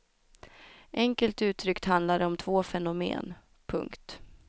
Enkelt uttryckt handlar det om två fenomen. punkt